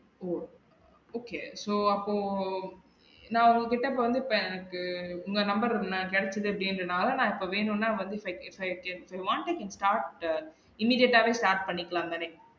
ஓ okay so அப்போ நா உங்க கிட்ட இப்ப வந்து பே எனக்கு இந்த நம்பர் நா கிடச்சது அப்படினால, நா இப்ப வேணுனா வந்துருப்ப if you want to start immediate டாவே start பண்ணிகிலாம் தானே?